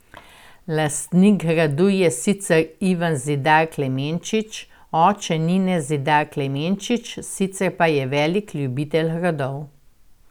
Lastnik gradu je sicer Ivan Zidar Klemenčič, oče Nine Zidar Klemenčič, sicer pa velik ljubitelj gradov.